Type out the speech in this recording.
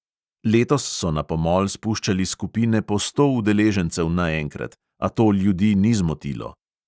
Letos so na pomol spuščali skupine po sto udeležencev naenkrat, a to ljudi ni zmotilo.